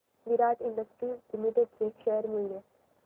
विराट Industries Limited चे share मूल्य